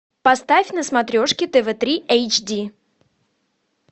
поставь на смотрешке тв три эйч ди